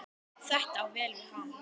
Þetta á vel við hann.